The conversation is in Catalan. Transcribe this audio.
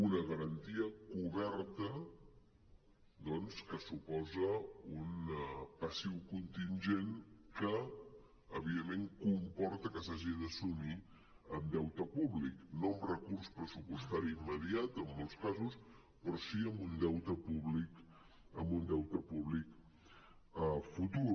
una garantia coberta doncs que suposa un passiu contingent que evidentment comporta que s’hagi d’assumir amb deute públic no amb recurs pressupostari immediat en molts casos però sí amb un deute públic futur